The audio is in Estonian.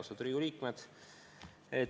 Austatud Riigikogu liikmed!